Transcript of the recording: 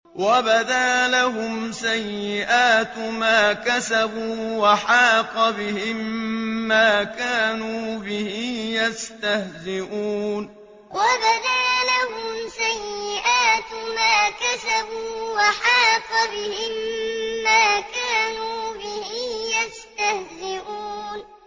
وَبَدَا لَهُمْ سَيِّئَاتُ مَا كَسَبُوا وَحَاقَ بِهِم مَّا كَانُوا بِهِ يَسْتَهْزِئُونَ وَبَدَا لَهُمْ سَيِّئَاتُ مَا كَسَبُوا وَحَاقَ بِهِم مَّا كَانُوا بِهِ يَسْتَهْزِئُونَ